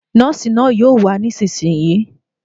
Nọ́ọ̀sì náà yóò wà nísìínyi